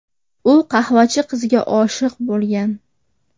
U qahvachi qizga oshiq bo‘lgan.